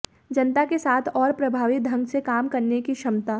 जनता के साथ और प्रभावी ढंग से काम करने की क्षमता